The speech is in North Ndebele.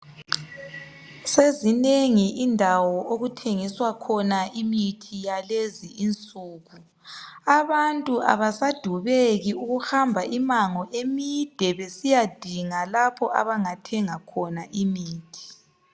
Sezinengi indawo okuthengiswa khona imithi yalezi insuku. Abantu abasadubeki ukuhamba imango emide besiyadinga lapho abangathenga khona imithi.